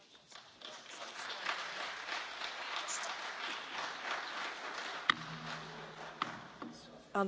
Anteeksi, täällä ei ole tapana eikä sallittua esittää minkäänlaisia suosionosoituksia sieltä parvekkeelta.